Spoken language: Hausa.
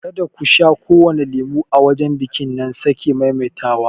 Ka da ku sha kowane lemon a wajen biƙin na sake maimaita wa!